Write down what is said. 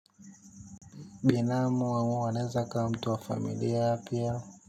Binamu wangu anaweza akawa mtu wa familia pia.